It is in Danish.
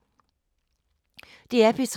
DR P3